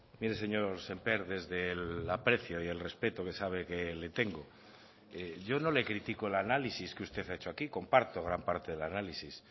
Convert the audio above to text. mire señor sémper desde el aprecio y el respeto que sabe que le tengo yo no le critico el análisis que usted ha hecho aquí comparto gran parte del análisis